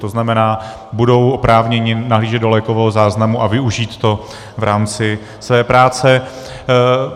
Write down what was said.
To znamená, budou oprávněni nahlížet do lékového záznamu a využít to v rámci své práce.